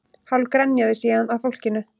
Hálf grenjaði síðan að fólkinu